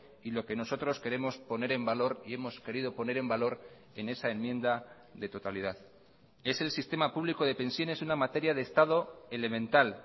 y lo que nosotros queremos poner en valor y hemos querido poner en valor en esa enmienda de totalidad es el sistema público de pensiones una materia de estado elemental